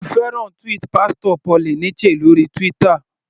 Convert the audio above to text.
Mo fẹ́ràn tweet Pastor Paul Eneche lórí Twitter.